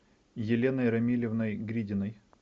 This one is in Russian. еленой рамилевной гридиной